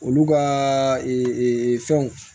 Olu ka fɛnw